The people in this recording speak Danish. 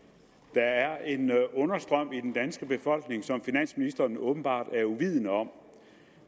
der er en understrøm i den danske befolkning som finansministeren åbenbart er uvidende om